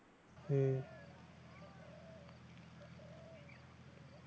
হুম